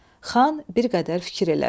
Xan bir qədər fikir elədi.